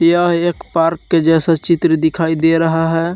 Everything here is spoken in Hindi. यह एक पार्क के जैसा चित्र दिखाई दे रहा है।